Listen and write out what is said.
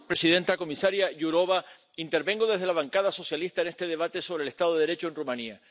Señora presidenta, comisaria Jourová, intervengo desde la bancada socialista en este debate sobre el Estado de Derecho en Rumanía.